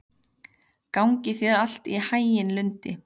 Gangi þér allt í haginn, Lundi.